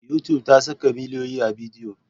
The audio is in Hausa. Youtube ta saka miliyoyin bidiyoyi.